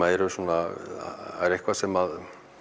eru svona það er eitthvað sem